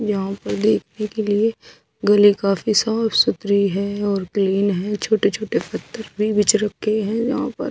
यहाँ पार देखने के लिए गली काफी साफ़ सुथरी है और क्लीन है छोटे छोटे पत्थर भी बिछ रखें है यहाँ पर--